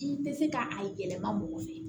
I tɛ se ka a yɛlɛma mɔgɔ fɛ